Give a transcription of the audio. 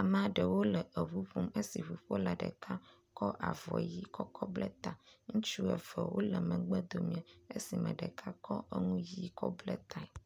Amea ɖewo le ŋu ƒom, esi ɖeka kɔ avɔ ʋɛ̃ kɔ bla eta esime ŋuƒola ɖeka kɔ avɔ ʋɛ̃ kɔ bla ta, amea ɖewo le megbe…